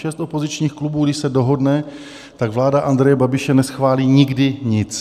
Šest opozičních klubů když se dohodne, tak vláda Andreje Babiše neschválí nikdy nic.